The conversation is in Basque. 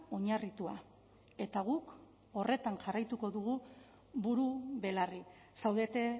oinarritua eta guk horretan jarraituko dugu buru belarri zaudete